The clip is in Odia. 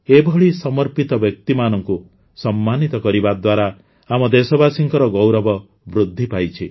ଏଭଳି ସମର୍ପିତ ବ୍ୟକ୍ତିମାନଙ୍କୁ ସମ୍ମାନୀତ କରିବା ଦ୍ୱାରା ଆମ ଦେଶବାସୀଙ୍କ ଗୌରବ ବୃଦ୍ଧି ପାଇଛି